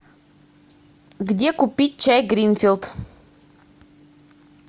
где купить чай гринфилд